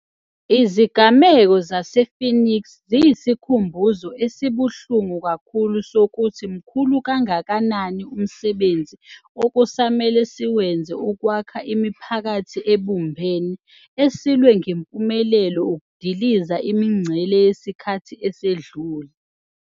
Izigameko zase-Phoenix ziyisikhumbuzo esibuhlungu kakhulu sokuthi mkhulu kangakanani umsebenzi okusamele siwenze ukwakha imiphakathi ebumbene esilwe ngempumelelo ukudiliza imingcele yesikhathi esedlule.